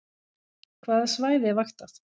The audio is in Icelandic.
Hvaða svæði er vaktað